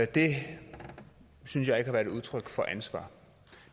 det synes jeg ikke har været et udtryk for ansvar